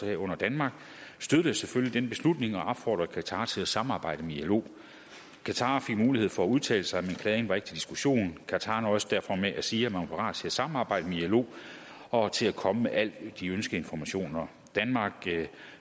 herunder danmark støttede selvfølgelig den beslutning og opfordrede qatar til at samarbejde med ilo qatar fik mulighed for at udtale sig men klagen var ikke til diskussion qatar nøjedes derfor med at sige at man var parat til at samarbejde med ilo og til at komme med alle de ønskede informationer danmark